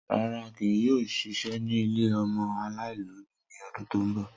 Rara, kii yoo ṣiṣẹ ni ile ọmọ alaialobi ni ọdun to nbọ.